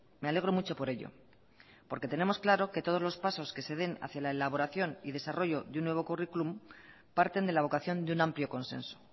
me alegro mucho por ello porque tenemos claro que todos los pasos que se den hacia la elaboración y desarrollo de un nuevo curriculum parten de la vocación de un amplio consenso